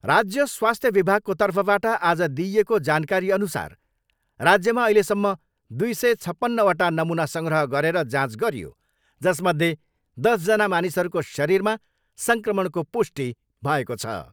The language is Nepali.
राज्य स्वास्थ्य विभागको तर्फबाट आज दिइएको जानकारीअनुसार राज्यमा अहिलेसम्म दुई सय छपन्नवटा नमुना सङ्ग्रह गरेर जाँच गरियो जसमध्ये दसजना मानिसहरूको शरीरमा सङ्क्रमणको पुष्टि भएको छ।